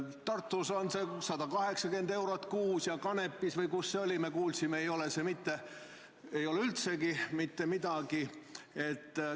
Tartus on see 180 eurot kuus ja Kanepis või kus see oli, me kuulsime, ei ole üldse mitte midagi vaja maksta.